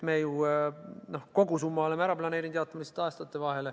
Me oleme kogusumma ära planeerinud, lihtsalt jaotame seda aastate vahel.